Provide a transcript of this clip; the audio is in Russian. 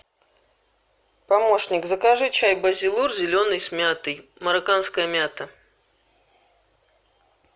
помощник закажи чай базилур зеленый с мятой марокканская мята